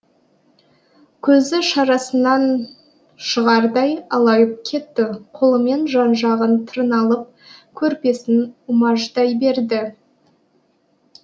көзі шарасынан шығардай алайып кетті қолымен жан жағын тырналып көрпесін умаждай берді